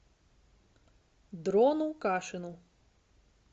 дрону кашину